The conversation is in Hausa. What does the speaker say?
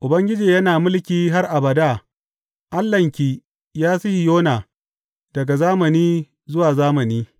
Ubangiji yana mulki har abada, Allahnki, ya Sihiyona, daga zamani zuwa zamani.